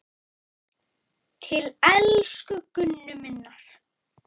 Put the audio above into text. Til elsku Gunnu minnar.